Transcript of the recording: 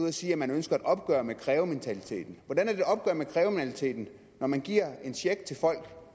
at sige at man ønsker et opgør med krævementaliteten hvordan er det et opgør med krævementaliteten når man giver en check til folk